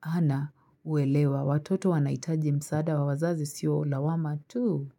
hana uelewa, watoto wanahitaji msaada wa wazazi sio lawama tu.